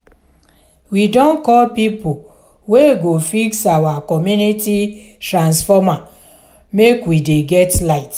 we don call pipo wey go fix our community transformer make we dey get light.